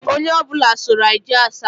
Onye ọ bụla soro anyị jee Asaba